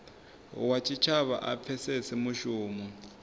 wa tshitshavha a pfesese mushumo